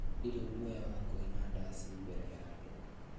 Ndirĩ guoya wa kũina ndaci mbele ya andũ